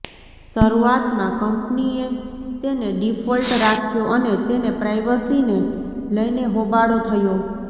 શરૂઆતમાં કંપનીએ તેને ડિફોલ્ટ રાખ્યો અને તેને પ્રાઈવસીને લઈને હોબાળો થયો